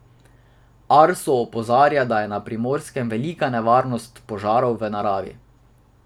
Arso opozarja, da je na Primorskem velika nevarnost požarov v naravi.